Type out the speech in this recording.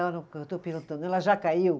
Eu estou perguntando, ela já caiu?